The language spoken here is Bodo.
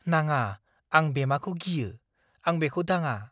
नाङा! आं बेमाखौ गियो। आं बेखौ दांङा।